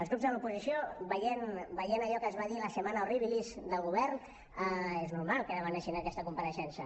els grups de l’oposició veient allò que es va dir la setmana horribilis del govern és normal que demanessin aquesta compareixença